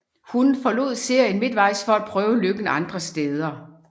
Hun forlod serien midtvejs for at prøve lykken andre steder